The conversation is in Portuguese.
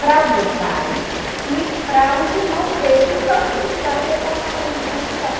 para o meu pai e para os irmãos dele, que tanto criticaram, porque ele colocava a gente para estudar.